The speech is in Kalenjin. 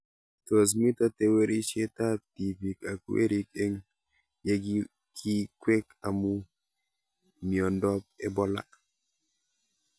Tos mito tewerishet ab tipik ak werik eng' ye kikwek amu miondop Ebola